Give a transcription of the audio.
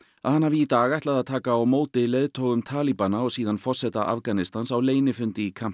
að hann hafi í dag ætlað að taka á móti leiðtogum talibana og síðan forseta Afganistans á leynifundi í